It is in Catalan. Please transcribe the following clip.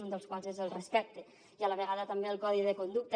un dels quals és el respecte i a la vegada també el codi de conducta